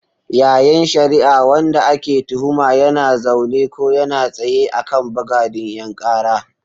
Yayin shari'ar, wanda ake tuhuma yana zaune ko yana tsaye a kan bagadin 'yan kara.